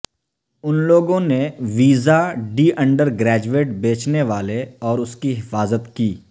ان لوگوں نے ویزا ڈی انڈرگریجویٹ بیچنے والے اور اس کی حفاظت کی